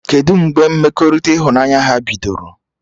Kedụ mgbe mmekọrịta ịhụnanya ha bidoro?